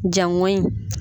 Jaŋɔɲi